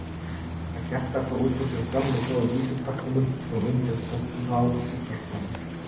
Og gelta svo út úr sér gömlu góðu vísupörtunum svo undir tók á sjúkrastofunni.